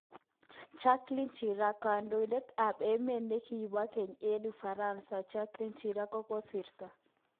Jacques Chirac: kondoidet at emet nekibo keny eng Ufaransa Jacques Chirac kokosrto